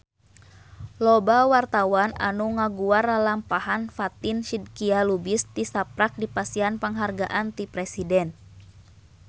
Loba wartawan anu ngaguar lalampahan Fatin Shidqia Lubis tisaprak dipasihan panghargaan ti Presiden